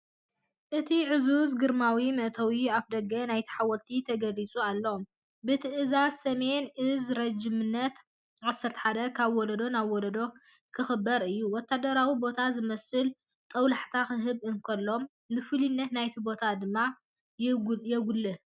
እቲ ዕዙዝን ግርማዊን መእተዊ ኣፍደገ ናይቲ ሓወልቲ ተገሊጹ ኣሎ። ብትእዛዝ ሰሜን እዝ ረጅመንት 11 ካብ ወለዶ ናብ ወለዶ ክኽበር እዩ!” ወተሃደራዊ ቦታ ዝመስል ጦብላሕታ ክህብ እንከሎ፡ ንፍሉይነት ናይቲ ቦታ ድማ የጉልሕ።